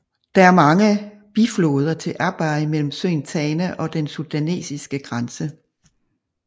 Der er mange bifloder til Abay mellem søen Tana og den sudanesiske grænse